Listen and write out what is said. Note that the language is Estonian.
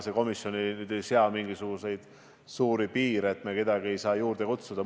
See komisjon ei sea mingisuguseid rangeid piire, et me kedagi juurde kutsuda ei saa.